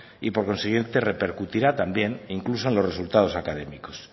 y por consiguiente repercutirá también e incluso en los resultados académicos